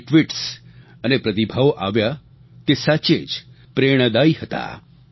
જે ટ્વીટ્સ અને પ્રતિભાવો આવ્યાં તે સાચે જ પ્રેરણાદાયી હતાં